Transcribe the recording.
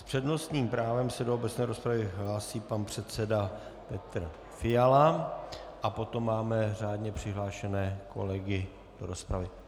S přednostním právem se do obecné rozpravy hlásí pan předseda Petr Fiala a potom máme řádně přihlášené kolegy do rozpravy.